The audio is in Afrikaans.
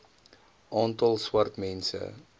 aantal swart mense